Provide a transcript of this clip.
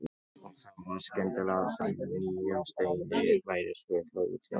Og þá var skyndilega sem nýjum steini væri skutlað út í ána.